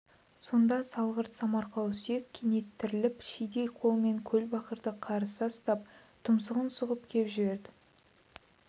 сонда салғырт самарқау сүйек кенет тіріліп шидей қолымен көлбақырды қарыса ұстап тұмсығын сұғып кеп жіберді